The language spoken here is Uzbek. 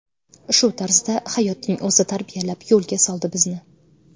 Shu tarzda hayotning o‘zi tarbiyalab, yo‘lga soldi bizni”.